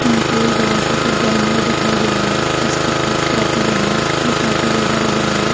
यहां पर एक बड़ा सा कुछ जानवर दिखाई दे रहा है जिसकी पूँछ काफी बड़ी है जो काफी बड़ा लग रहा है।